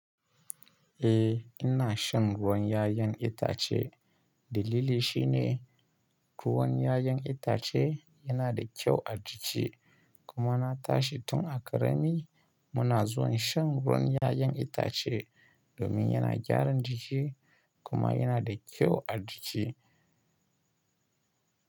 Eh ina shan ruwan 'ya'yan itace. Dalili shine ruwan 'ya'yan itace yana da kyau a jiki kuma na tashi tun a karami muna zuwa shan ruwan 'ya'yan itace domin yana gyaran jiki kuma yana da kyau a jiki.